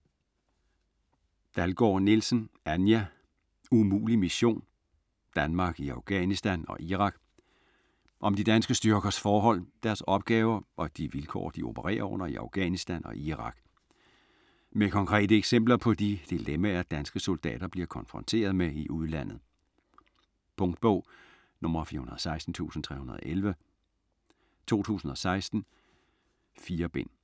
Dalgaard-Nielsen, Anja: Umulig mission?: Danmark i Afghanistan og Irak Om de danske styrkers forhold, deres opgaver og de vilkår de opererer under i Afghanistan og Irak. Med konkrete eksempler på de dilemmaer danske soldater bliver konfronteret med i udlandet. Punktbog 416311 2016. 4 bind.